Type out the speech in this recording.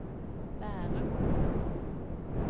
Bærum